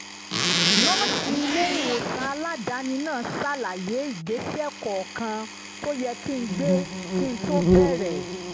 nọ́ọ̀sì ilé-ìwòsàn aládàáni náà ṣàlàyé ìgbésẹ̀ kọ̀ọ̀kan tó yẹ kí n gbé kí n tó bẹ̀rẹ̀